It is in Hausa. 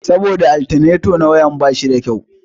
Saboda altaneta na motar ba shi da kyau